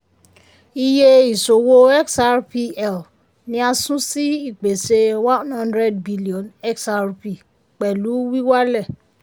iye ìṣòwò xrpl ni a sun sí ìpèsè one hundred billion xrp pẹ̀lú wíwálẹ̀.